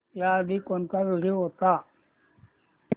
याआधी कोणता व्हिडिओ होता